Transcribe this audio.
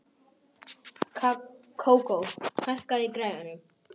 Kókó, hækkaðu í græjunum.